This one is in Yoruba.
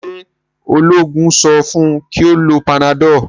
ṣe oloogun so fun kí o ló Panadol?